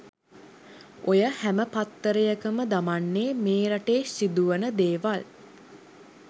ඔය හැම පත්තරයකම දමන්නේ මේ රටේ සිදුවන දේවල්.